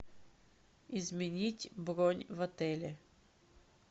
изменить бронь в отеле